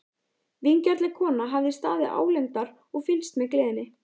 Vingjarnleg kona hafði staðið álengdar og fylgst með gleðinni.